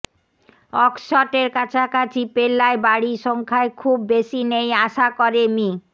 অক্সশটের কাছাকাছি পেল্লায় বাড়ি সংখ্যায় খুব বেশি নেই আশা করে মি